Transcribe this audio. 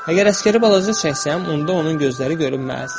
Əgər əsgəri balaca çəksəm, onda onun gözləri görünməz.